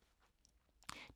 DR K